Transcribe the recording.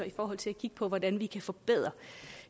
i forhold til at kigge på hvordan vi kan forbedre